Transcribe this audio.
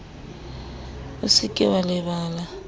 o se ke wa lebala